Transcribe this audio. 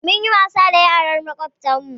Mun yi wasa da yaran makwabtan mu